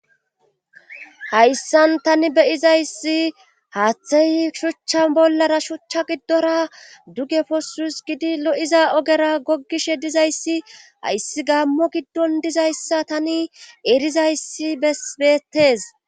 Hayssan tani beyizayssi haaththey shuchchan bollara shuchcha giddora duge posus gidi lo'iza ogera goggishe dizayssi ayssi gammo giddon dizayssa tani erizayssi besbeettes.